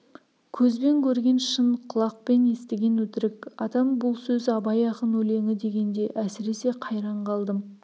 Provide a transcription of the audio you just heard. көзбен көрген шын құлақпен естіген өтірік атам бұл сөз абай ақын өлеңі дегенде әсіресе қайран қалдым